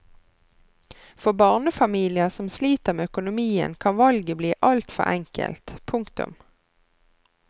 For barnefamilier som sliter med økonomien kan valget bli altfor enkelt. punktum